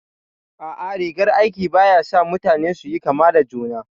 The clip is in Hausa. A'a, rigar aiki ba ya sa mutane su yi kama da juna